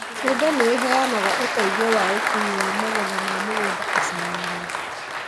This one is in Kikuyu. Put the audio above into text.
Bunda nĩiheanaga ũteithio wa ũkui wa magetha ma mũgũnda icagi-inĩ